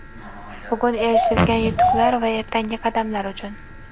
bugun erishilgan yutuqlar va ertangi qadamlar uchun.